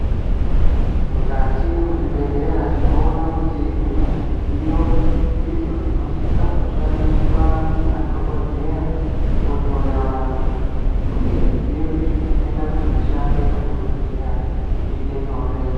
Mukati mezvibhedhlera tinoona kuti mune izvo zvidziyo, zvinosise kushandiswa ngemadhogodheya kuhloya vantu, uye zvidziyo izvi zvinoite kuti mishando yemadhogodheya iitenyore.